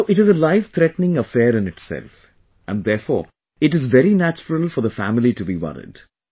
So it is a lifethreatening affair in itself, and therefore it is very natural for the family to be worried